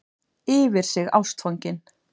Yfir sig ástfangin.